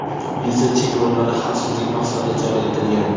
viza cheklovlari xavfsizlik maqsadida joriy etilgan.